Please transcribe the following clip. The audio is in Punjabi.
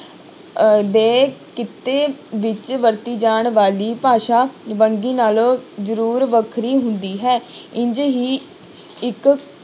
ਅਹ ਦੇ ਕਿੱਤੇ ਵਿੱਚ ਵਰਤੀ ਜਾਣ ਵਾਲੀ ਭਾਸ਼ਾ ਵੰਨਗੀ ਨਾਲੋਂ ਜ਼ਰੂਰ ਵੱਖਰੀ ਹੁੰਦੀ ਹੈ ਇੰਞ ਹੀ ਇੱਕ